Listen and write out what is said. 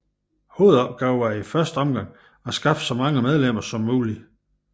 Hovedopgaven var i første omgang at skaffe så mange medlemmer som muligt